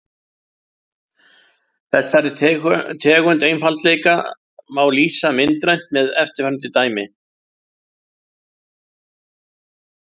Þessari tegund einfaldleika má lýsa myndrænt með eftirfarandi dæmi.